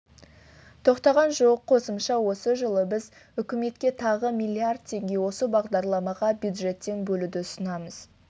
тоқтаған жоқ қосымша осы жылы біз үкіметке тағы миллиард теңге осы бағдарламаға бюджеттен бөлуді ұсынамыз